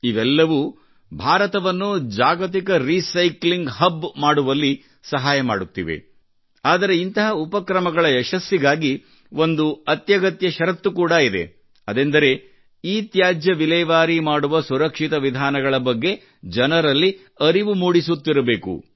ಇವೆಲ್ಲವೂ ಭಾರತವನ್ನು ಜಾಗತಿಕ ರೀಸೈಕ್ಲಿಂಗ್ ಹಬ್ ಮಾಡುವಲ್ಲಿ ಸಹಾಯ ಮಾಡುತ್ತಿವೆ ಆದರೆ ಇಂತಹ ಉಪಕ್ರಮಗಳ ಯಶಸ್ಸಿಗಾಗಿ ಒಂದು ಅತ್ಯಗತ್ಯ ಷರತ್ತು ಕೂಡಾ ಇದೆ ಅದೆಂದರೆ ಇತ್ಯಾಜ್ಯ ವಿಲೇವಾರಿ ಮಾಡುವ ಸುರಕ್ಷಿತ ವಿಧಾನಗಳ ಬಗ್ಗೆ ಜನರಲ್ಲಿ ಅರಿವು ಮೂಡಿಸುತ್ತಿರಬೇಕು